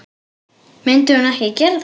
Myndi hún ekki gera það?